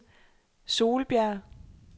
Solbjerg